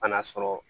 Kan'a sɔrɔ